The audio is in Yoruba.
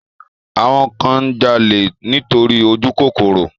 Àwọn kan ń jalè nítorí ojúkòkòrò